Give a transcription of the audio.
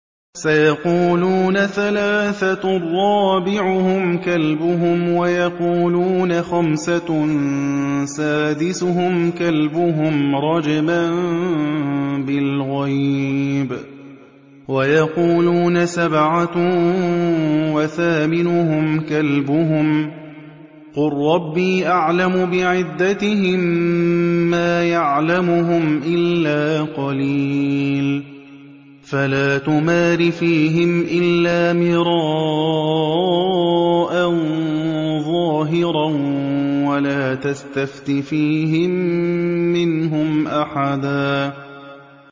سَيَقُولُونَ ثَلَاثَةٌ رَّابِعُهُمْ كَلْبُهُمْ وَيَقُولُونَ خَمْسَةٌ سَادِسُهُمْ كَلْبُهُمْ رَجْمًا بِالْغَيْبِ ۖ وَيَقُولُونَ سَبْعَةٌ وَثَامِنُهُمْ كَلْبُهُمْ ۚ قُل رَّبِّي أَعْلَمُ بِعِدَّتِهِم مَّا يَعْلَمُهُمْ إِلَّا قَلِيلٌ ۗ فَلَا تُمَارِ فِيهِمْ إِلَّا مِرَاءً ظَاهِرًا وَلَا تَسْتَفْتِ فِيهِم مِّنْهُمْ أَحَدًا